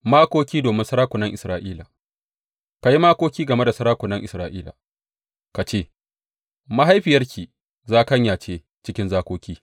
Makoki domin sarakunan Isra’ila Ka yi makoki game da sarakunan Isra’ila ka ce, Mahaifiyarki zakanya ce cikin zakoki!